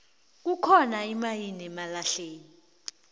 kukhona imayini yamalahle